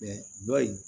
dɔ in